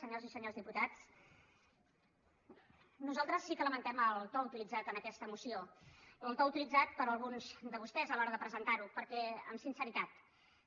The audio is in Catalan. senyores i senyors diputats nosaltres sí que lamentem el to utilitzat en aquesta moció el to utilitzat per alguns de vostès a l’hora de presentar ho perquè amb sinceritat